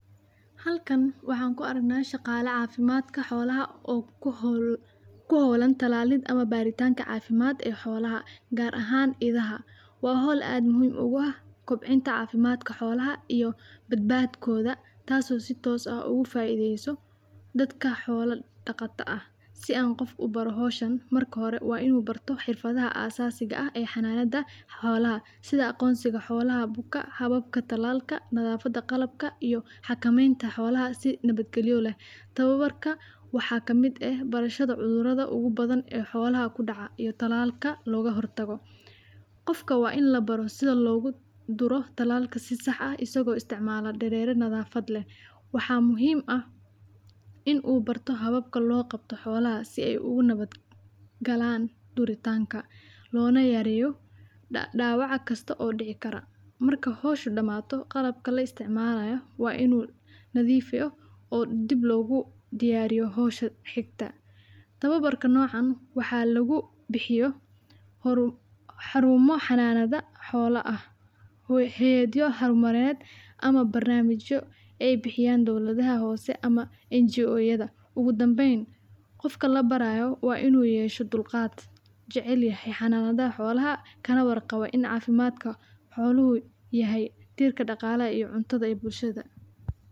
Halkan waxaan ku aragnaa shaqaala cafimaadka xoolaha oo ku hawlan tallalid ama baritaanka cafimaad ee xolaha ,gaar ahaan idaha. Waa hawl aad muhiim ugu ah gaar ahaan kobcinta cafimaadka xoolaha iyo badbadkooda ,tas oo si toos ah ugu faaideyso dadka xoola dhaqata ah . Si aan qof u baro hawshan marka hore ,waa inuu barto xirfadaha aasasiga ah ee xanaanada xoolaha ,sida aqoonsiga xoolaha buka ,hababka tallalka ,nadaafada qalabka iyo xakameynta xoolaha si nabad galyo leh . Tababarka waxaa kamid eh ,barashada cudurrada ugu badan ee xoolaha ku dhaca iyo tallalka looga hor tago . Qofka waa in la baro sida loogu duro tallalka si sax ah isagoo isticmaalo dareere nadaafad leh ,waxaa muhiim ah in uu barto hababka loo qabto xoolaha ,si ay ugu nabad galaan duritaanka loona yareeyo dhawac kasta oo dhici kara. Marka hawsha bilawato qalabka la isticmalayo waa inuu nadifiyo oo dib loogu diyaariyo hawsha xigta .Tababarka nocan waxaa lagu bixiyo xaruumo xanaanada xoola ah ,hay'adyo hormarineed ama barnaamijyo ay bixiyaan dawladaha hoose ama NGO yada . Ugu dambeyn qofka la baraayo waa inuu yeesho dulqaad, jacelyahay xananadaha xoolaha, kana war qabo in cafimaadku xooluhu tahay tiirka dhaqalaha cuntada ee bulshada.